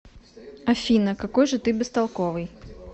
афина какой же ты бестолковый